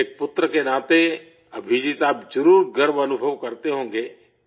ایک بیٹے کے ناطے ابھجیت آپ ضرور فخر محسوس کرتے ہوں گے